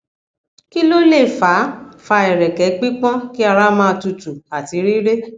kí ló lè fa fa ereke pipon ki ara ma tutu àti rire